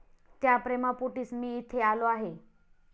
त्या प्रेमापोटीच मी इथे आलो आहे.